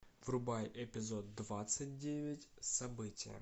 врубай эпизод двадцать девять событие